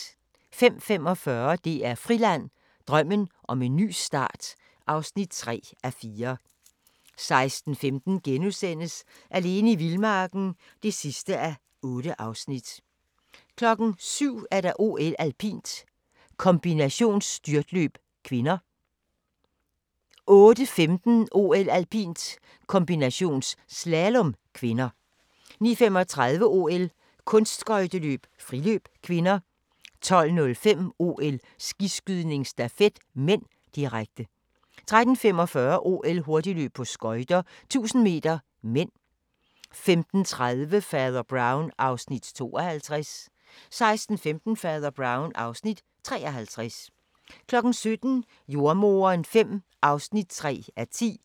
05:45: DR Friland: Drømmen om en ny start (3:4) 06:15: Alene i vildmarken (8:8)* 07:00: OL: Alpint - kombinationsstyrtløb (k) 08:15: OL: Alpint - kombinationsslalom (k) 09:35: OL: Kunstskøjteløb - friløb (k) 12:05: OL: Skiskydning - stafet (m), direkte 13:45: OL: Hurtigløb på skøjter, 1000 m (m) 15:30: Fader Brown (Afs. 52) 16:15: Fader Brown (Afs. 53) 17:00: Jordemoderen V (3:10)